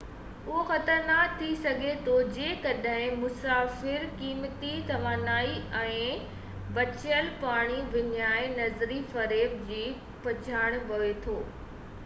اهو خطرناڪ ٿي سگهي ٿو جيڪڏهن مسافر قيمتي توانائي ۽ بچيل پاڻي وڃائي نظري فريب جي پٺيان پوي ٿو